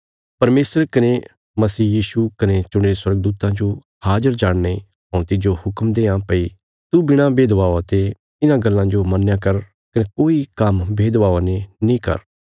परमेशर कने मसीह यीशु कने चुणीरे स्वर्गदूतां जो हाजर जाणीने हऊँ तिज्जो हुक्म देआं भई तू बिणा भेदभावा ते इन्हां गल्लां जो मन्नया कर कने कोई काम्म भेदभावा ने नीं कर